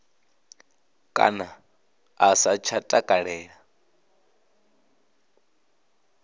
kana a sa tsha takalela